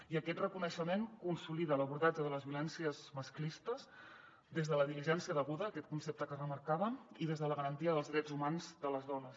i aquest reconeixement consolida l’abordatge de les violències masclistes des de la diligència deguda aquest concepte que remarcaven i des de la garantia dels drets humans de les dones